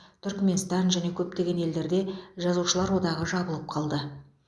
түрікменстан және көптеген елдерде жазушылар одағы жабылып қалды